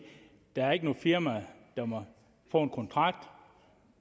der ikke er noget firma der må få en kontrakt